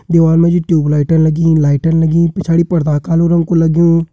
दीवाल मा जी ट्यूबलाइटन लगीं लाइटन लगीं पिछाड़ी पर्दा कालु रंग कु लग्युं।